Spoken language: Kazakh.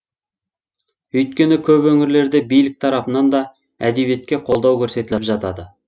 өйткені көп өңірлерде билік тарапынан да әдебиетке қолдау көрсетіліп жатады